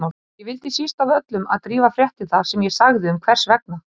Ég vildi síst af öllu að Drífa frétti það sem ég sagði um hvers vegna